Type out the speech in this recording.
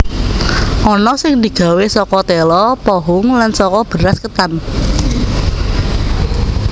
Ana sing digawé saka téla pohung lan saka beras ketan